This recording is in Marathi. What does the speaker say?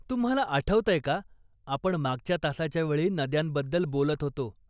तुम्हाला आठवतंय का आपण मागच्या तासाच्या वेळी नद्यांबद्दल बोलत होतो.